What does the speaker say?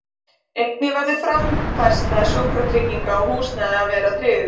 Einnig verður framfærsla, sjúkratrygging og húsnæði að vera tryggð.